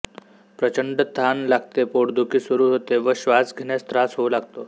प्रचंड तहान लागते पोटदुखी सुरू होते व श्वास घेण्यास त्रास होऊ लागतो